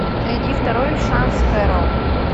найди второй шанс кэрол